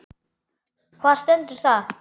Hvar stendur það?